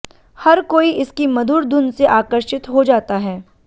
हर कोई इसकी मधुर धुन से आकर्षित हो जाता है